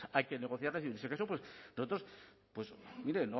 hay que negociarlas y en ese caso nosotros mire